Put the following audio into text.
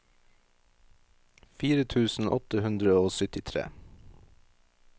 fire tusen åtte hundre og syttitre